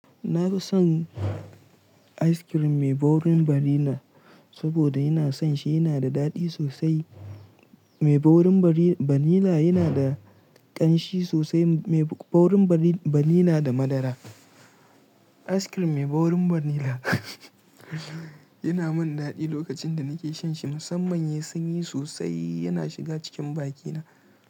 Na fi son ice cream mai ɓaurin vanilla saboda ina son shi yana da daɗi sosai. Mai ɓaurin vanilla yana da ƙanshi sosai. Mai ɓaurin vanilla da madara. Ice cream mai ɓaurin vanilla yana min daɗi lokacin da nake shanshi musamman ya sanyi sosai yana shiga cikin bakina.